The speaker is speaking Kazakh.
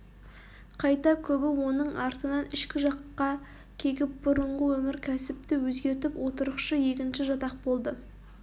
қайта көбі оның артынан ішкі жаққа кегіп бұрынғы өмір кәсіпті өзгертіп отырықшы егінші жатақ болды